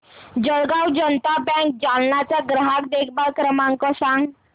Jalgaon Janata bank Jalna चा ग्राहक देखभाल क्रमांक सांग